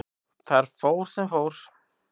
Þar fór sem fór.